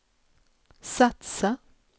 satsa